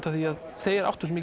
af því að þeir áttu svo